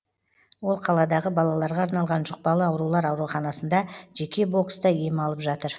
ол қаладағы балаларға арналған жұқпалы аурулар ауруханасында жеке бокста ем алып жатыр